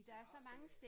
Som også øh